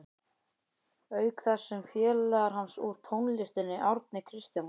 Auk þess sem félagar hans úr tónlistinni, Árni Kristjánsson